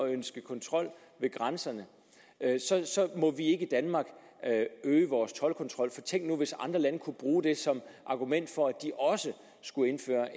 ønske kontrol ved grænserne må vi ikke i danmark øge vores toldkontrol for tænk nu hvis andre lande kunne bruge det som argument for at de også skulle indføre